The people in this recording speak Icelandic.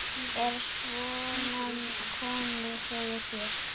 Er svona komið fyrir þér?